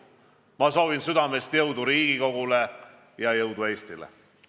Ma soovin südamest jõudu Riigikogule ja jõudu Eestile.